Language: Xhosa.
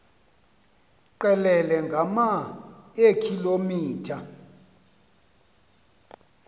qelele ngama eekilometha